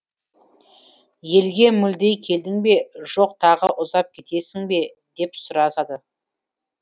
елге мүлде келдің бе жоқ тағы ұзап кетесің бе деп сұрасады